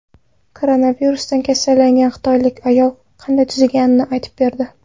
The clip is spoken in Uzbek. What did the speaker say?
Koronavirusdan kasallangan xitoylik ayol qanday tuzalganini aytib berdi.